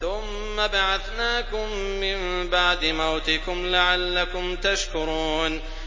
ثُمَّ بَعَثْنَاكُم مِّن بَعْدِ مَوْتِكُمْ لَعَلَّكُمْ تَشْكُرُونَ